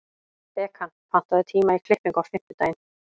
Bekan, pantaðu tíma í klippingu á fimmtudaginn.